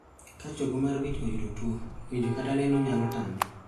Ka chogo mar wich oyudo tuo, winjo kata neno nyalo tame